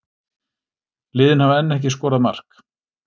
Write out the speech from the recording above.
Liðin hafa enn ekki skorað mark